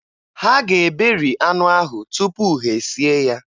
Ha ga-eberi anụ ahụ tupu ha e sie ya